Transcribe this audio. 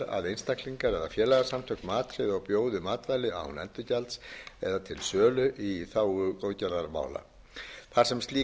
einstaklingar eða félagasamtök matreiði og bjóði matvæli án endurgjalds eða til sölu í þágu góðgerðarmála þar sem slík